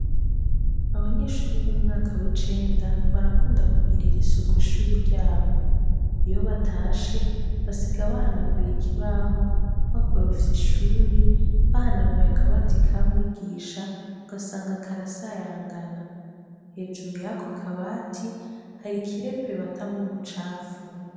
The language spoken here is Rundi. Abanyeshuri b'umwaka w'icenda barakunda kugirir’isuku ishuri ryabo, iyo batashe basiga bahanaguye ikibaho bakorufya ishuri bahanaguye akabati ka mwigisha ugasanga karasayangana, hejuru yako akabati hari ikirepe batamwo ubucafu.